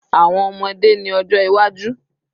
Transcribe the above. Awọn ọmọde ni ojo iwaju